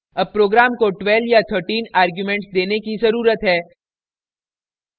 अब program को 12 या 13 arguments देने की ज़रुरत है